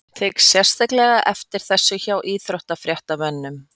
Tek sérstaklega eftir þessu hjá íþróttafréttamönnum.